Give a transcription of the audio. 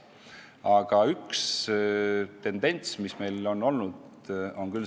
Aga on üks tendents, mida me oleme hoidnud.